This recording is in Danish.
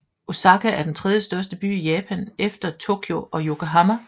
Osaka er den tredjestørste by i Japan efter Tokyo og Yokohama